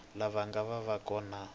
lava nga ta va kona